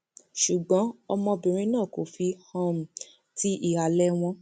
ṣùgbọn ọmọbìnrin náà kò fi um ti ìhàlẹ wọn